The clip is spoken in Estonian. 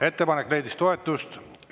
Ettepanek leidis toetust.